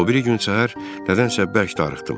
O biri gün səhər nədənsə bərk darıxdım.